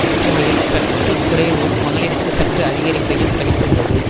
ஒப்புமையில் சற்று குறைவும் மகளிருக்கு சற்று அதிகரிப்பையும் கணித்துள்ளது